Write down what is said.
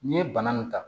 N'i ye bana nin ta